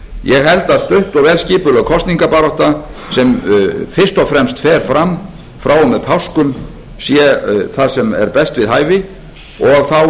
ég held að stutt og vel skipulögð kosningabarátta sem fyrst og fremst fer fram frá og með páskum sé best við hæfi og þá